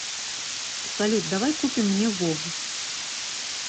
салют давай купим мне вов